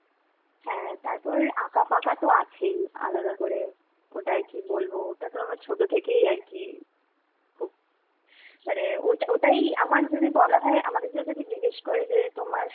হ্যাঁ, তারপর আঁকা ফাকা তো আছেই আলাদা করে. ওটা আর কি বলবো. ওটা আমার ছোটো থেকেই আর কি, খুব মানে ওটাই আমার যদি বলা হয় আমাকে যদি কেউ জিজ্ঞেস করে যে, তোমার